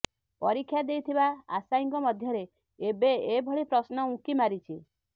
ପରୀକ୍ଷା ଦେଇଥିବା ଆଶାୟୀଙ୍କ ମଧ୍ୟରେ ଏବେ ଏଭଳି ପ୍ରଶ୍ନ ଉଙ୍କି ମାରିଛି